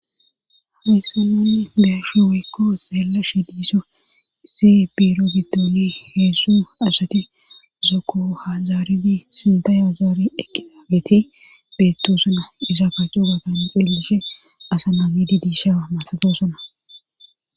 Hawyssana beyashi weykko xeella shi diisso se biiro giddoni heessu asati zoko hazaaridi sintayazaari eqiaageti beetto suna isakaaco gatan elishe asa naamidi diishaa matatosona.